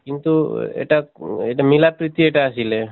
কিন্তু এটা এটা মিলা প্ৰীতি এটা আছিলে।